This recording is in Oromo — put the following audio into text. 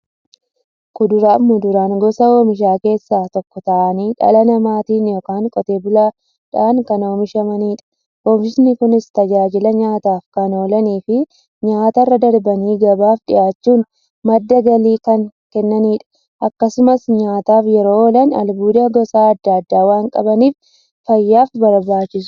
Kuduraafi muduraan gosa oomishaa keessaa tokko ta'anii, dhala namaatin yookiin Qotee bulaadhan kan oomishamaniidha. Oomishni Kunis, tajaajila nyaataf kan oolaniifi nyaatarra darbanii gabaaf dhiyaachuun madda galii kan kennaniidha. Akkasumas nyaataf yeroo oolan, albuuda gosa adda addaa waan qabaniif, fayyaaf barbaachisoodha.